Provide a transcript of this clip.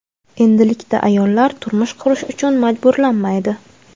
endilikda ayollar turmush qurish uchun majburlanmaydi.